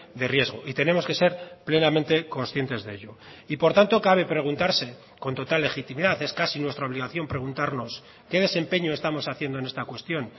de riesgo y tenemos que ser plenamente conscientes de ello y por tanto cabe preguntarse con total legitimidad es casi nuestra obligación preguntarnos qué desempeño estamos haciendo en esta cuestión